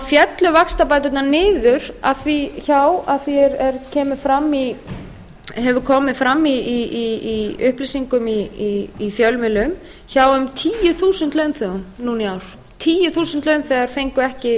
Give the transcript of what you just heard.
féllu vaxtabæturnar niður hjá að því er hefur komið fram í upplýsingum í fjölmiðlum hjá um tíu þúsund launþegum núna í ár tíu þúsund launþegar fengu